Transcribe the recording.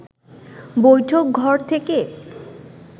বৈঠকঘর থেকে